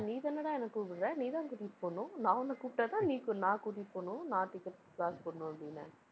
நீதானடா என்னை கூப்பிடுற? நீதான் கூட்டிட்டு போகணும். நான் உன்னை கூப்பிட்டாதான், நீ கூ~ நான் கூட்டிட்டு போகணும். நான் ticket க்கு காசு போடணும், அப்படின்னேன். அஹ்